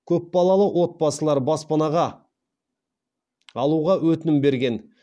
көпбалалы отбасылар баспанаға алуға өтінім берген